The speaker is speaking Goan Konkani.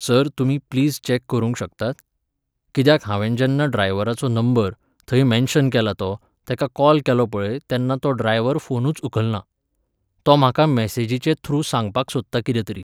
सर तुमी प्लीज चॅक करूंक शकतात? कित्याक हांवेन जेन्ना ड्रायवराचो नंबर, थंय मॅन्शन केला तो, तेका कॉल केलो पळय तेन्ना तो ड्रायवर फोनूच उखलना. तो म्हाका मॅसेजिचे थ्रू सांगपाक सोदता कितें तरी.